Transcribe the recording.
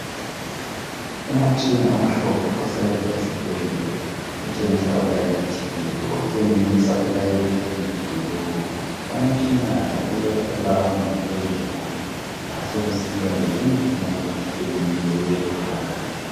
Umutshina omhlophe osebenza esibhedlela utshengisa ulayithile, watshengisa ilayithi eliyi blue , umutshina lo ulelawundi phezulu kwasokusiba lelinye ilayithi eliyi yellow phakathi